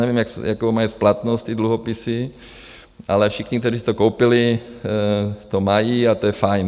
Nevím, jakou mají splatnost ty dluhopisy, ale všichni, kteří si to koupili, to mají a to je fajn.